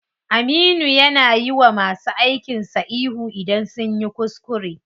Aminu ya na yiwa masu aikin sa ihu idan sunyi kuskure.